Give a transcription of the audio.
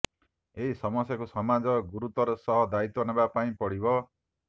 ଏହି ସମସ୍ୟାକୁ ସମାଜକୁ ଗୁରୁତ୍ୱର ସହ ଦାୟିତ୍ୱ ନେବା ପାଇଁ ପଡ଼ିବ